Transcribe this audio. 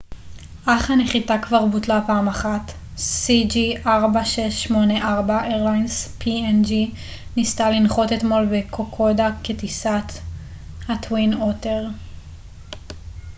ה-twin otter ניסה לנחות אתמול בקוקודה כטיסת png אירליינס cg4684 אך הנחיתה כבר בוטלה פעם אחת